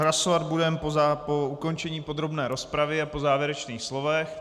Hlasovat budeme po ukončení podrobné rozpravy a po závěrečných slovech.